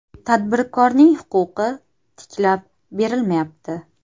Tadbirkorning huquqi tiklab berilmayapti.